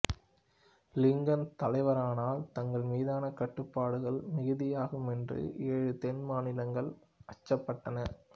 Lincoln தலைவரானால் தங்கள் மீதான கட்டுப்பாடுகள் மிகுதியாகுமென்று ஏழு தென் மாநிலங்கள் அச்சப்பட்டன